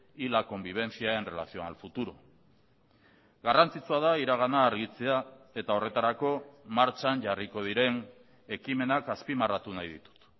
y la convivencia en relación al futuro garrantzitsua da iragana argitzea eta horretarako martxan jarriko diren ekimenak azpimarratu nahi ditut